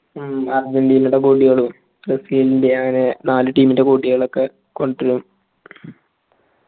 മ്മ് അർജന്റീനയുടെ goal ഇകൾ ബ്രസീലിന്റെഅവരെ നാല് team ൻ്റെ ബോട്ട്യാലോക്കെ കൊണ്ടുവരു